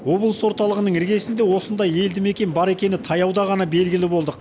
облыс орталығының іргесінде осындай елді мекен бар екені таяуда ғана белгілі болдық